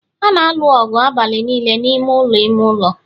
ha na-alụ ọgụ abalị niile n'ime ụlọ ime ụlọ